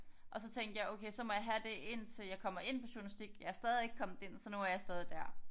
Og så tænkte jeg okay så må jeg have det indtil jeg kommer ind på journalistik jeg er stadig ikke kommet ind så nu er jeg stadig der